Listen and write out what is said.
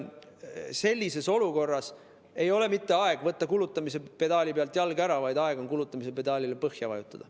Sellises olukorras ei ole mitte aeg võtta jalg kulutamise pedaali pealt ära, vaid aeg on kulutamise pedaal põhja vajutada.